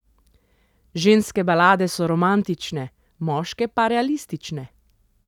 Ženske balade so romantične, moške pa realistične.